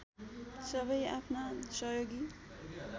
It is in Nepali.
सबै आफ्ना सहयोगी